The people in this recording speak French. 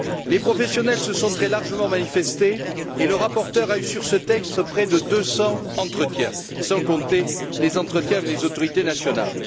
Les professionnels se sont très largement manifestés, et le rapporteur a eu sur ce texte près de 200 entretiens, sans compter les entretiens avec les autorités nationales.